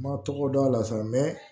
N ma tɔgɔ dɔn a la sa